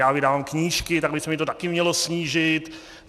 Já vydávám knížky, tak by se mi to taky mělo snížit.